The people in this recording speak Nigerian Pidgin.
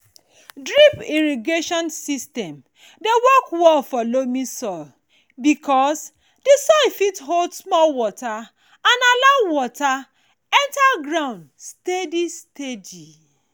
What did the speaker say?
drip irrigation system dey work well for loamy soil because di soil fit hold small water and also allow water enter ground steady steady.